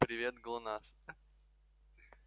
привет глонассс